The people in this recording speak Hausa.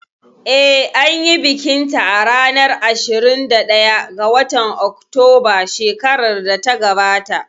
Eh, anyi bikin ta a ranar ashirin da ɗaya ga watan Oktoba shekarar da ta gabata